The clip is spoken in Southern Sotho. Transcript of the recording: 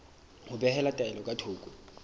ho behela taelo ka thoko